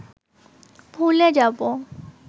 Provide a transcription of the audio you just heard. ভুলে যাব